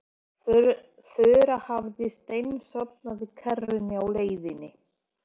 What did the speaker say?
Þura hafði steinsofnað í kerrunni á leiðinni.